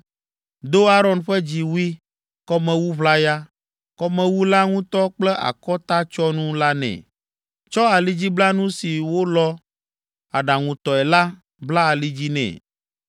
Do Aron ƒe dziwui, kɔmewu ʋlaya, kɔmewu la ŋutɔ kple akɔtatsyɔnu la nɛ, tsɔ alidziblanu si wolɔ̃ aɖaŋutɔe la bla ali dzi nɛ,